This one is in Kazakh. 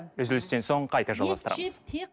үзілістен соң қайта жалғастырамыз